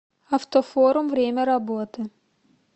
автофорум время работы